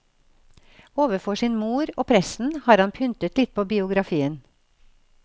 Overfor sin mor og presten har han pyntet litt på biografien.